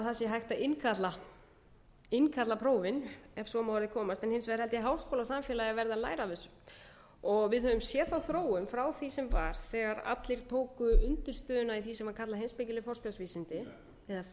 sé hægt að innkalla prófin ef svo má að orði komast en hins vegar held ég að háskólasamfélagið verði að læra af þessu við höfum séð þróunina frá því sem var þegar allir tóku undirstöðuna í því sem var